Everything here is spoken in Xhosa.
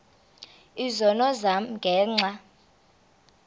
izono zam ngenxa